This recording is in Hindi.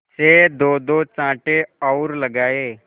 से दोदो चांटे और लगाए